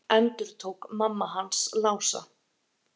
endurtók mamma hans Lása.